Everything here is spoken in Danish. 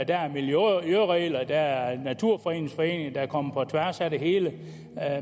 der er miljøregler og der er naturfredningsforeninger der kommer på tværs af det hele